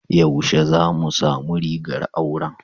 Yaushe ne zamu samu rigar auran?